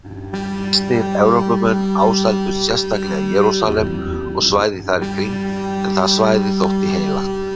Kristnir Evrópumenn ásældust sérstaklega Jerúsalem og svæðið þar í kring en það svæði þótti heilagt.